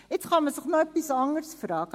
Nun kann man sich noch etwas anderes fragen: